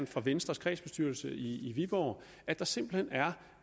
fra venstres kredsbestyrelse i viborg at der simpelt hen er